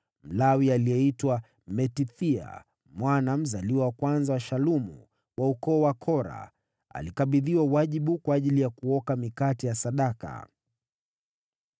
Mlawi aliyeitwa Matithia, mwana mzaliwa wa kwanza wa Shalumu, wa ukoo wa Kora, alikabidhiwa wajibu kwa ajili ya kuoka mikate ya sadaka.